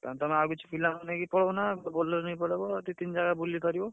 ତାହେଲେ ତମେ ଆଉ କିଛି ପିଲାଙ୍କୁ ନେଇକି ପଳଉନ। ଗୋଟେ Bolero ନେଇ ପଳେଇବ। ଦି ତିନି ଜାଗା ବୁଲିପରିବ।